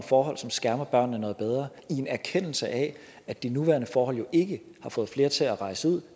forhold som skærmer børnene noget bedre i en erkendelse af at de nuværende forhold jo ikke har fået flere til at rejse ud